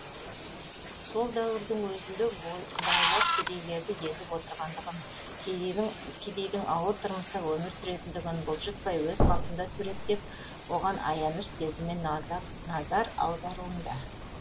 сол дәуірдің өзінде байлар кедейлерді езіп отырғандығын кедейдің ауыр тұрмыста өмір сүретіндігін бұлжытпай өз қалпында суреттеп оған аяныш сезіммен назар аударуында